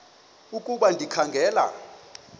ukuba ndikha ngela